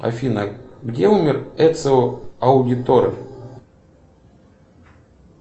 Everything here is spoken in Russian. афина где умер эцио аудиторе